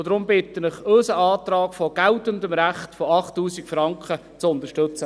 Deshalb bitte ich Sie, unseren Antrag auf geltendes Recht, 8000 Franken, zu unterstützen.